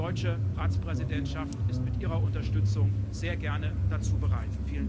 Die deutsche Ratspräsidentschaft ist mit Ihrer Unterstützung sehr gerne dazu bereit.